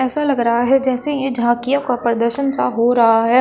ऐसा लग रहा है जैसे ये झांकियों का प्रदर्शन सा हो रहा है।